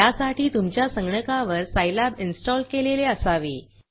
त्यासाठी तुमच्या संगणकावर सायलॅब इन्स्टॉल केलेले असावे